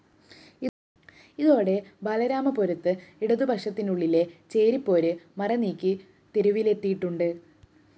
ഇതോടെ ബാലരാമപുരത്ത് ഇടതുപക്ഷത്തിനുള്ളിലെ ചേരി പോര് മറനീക്കി തെരുവിലെത്തിയിട്ടുണ്ട